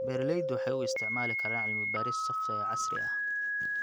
Beeraleydu waxay u isticmaali karaan cilmi-baaris software casri ah.